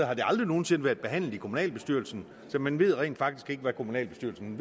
har det aldrig nogen sinde været behandlet i kommunalbestyrelsen så man ved rent faktisk ikke hvad kommunalbestyrelsen